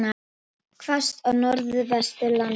Hvasst á Norðvesturlandi